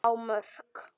á Mörk.